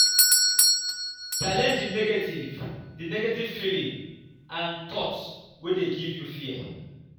challenege di negative di negative feeling and thought wey dey give you fear